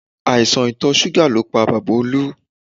Àìsàn ìtọ̀ súgà ló pa bàbá Olú